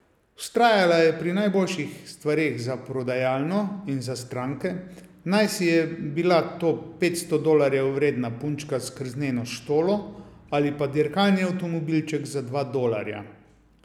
Vztrajala je pri najboljših stvareh za prodajalno in za stranke, najsi je bila to petsto dolarjev vredna punčka s krzneno štolo ali pa dirkalni avtomobilček za dva dolarja.